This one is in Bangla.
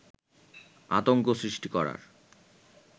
আতঙ্ক সৃষ্টি করার